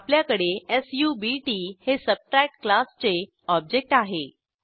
आपल्याकडे सब्ट हे Subtractक्लासचे ऑब्जेक्ट आहे